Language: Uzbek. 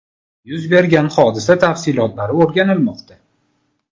Yuz bergan hodisa tafsilotlari o‘rganilmoqda.